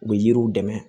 U bɛ yiriw dɛmɛ